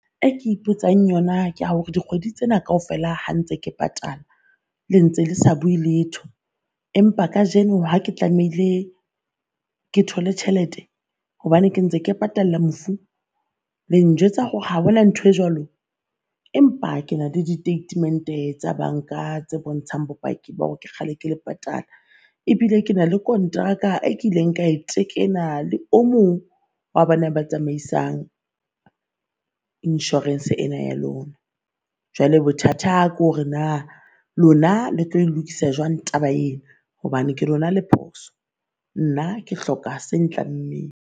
E ke ipotsang yona ke ya hore dikgwedi tsena kaofela ha ntse ke patala, le ntse le sa bue letho. Empa kajeno ha ke tlamehile ke thole tjhelete hobane ke ntse ke patalla mofu le njwetsa hore ha hona nthwe jwalo? Empa ke na le ditatemente tsa banka tse bontshang bopaki ba hore ke kgale ke le patala, ebile ke na le konteraka a kileng ka e tekena le o mong wa ba na ba tsamaisang insurance-e ena ya lona. Jwale bothata kore naa lona le tlo lokisa jwang taba ee hobane ke lona le phoso? Nna ke hloka se tlammeng.